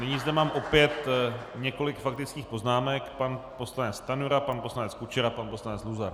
Nyní zde mám opět několik faktických poznámek - pan poslanec Stanjura, pan poslanec Kučera, pan poslanec Luzar.